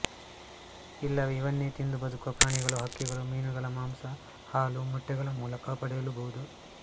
ಇಲ್ಲವೇ ಇವನ್ನೇ ತಿಂದು ಬದುಕುವ ಪ್ರಾಣಿಗಳು ಹಕ್ಕಿಗಳು ಮೀನುಗಳ ಮಾಂಸ ಹಾಲು ಮೊಟ್ಟೆಗಳ ಮೂಲಕ ಪಡೆಯಲೂಬಹುದು